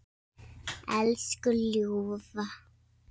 Elsku ljúfa.